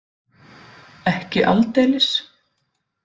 Ekki aldeilis.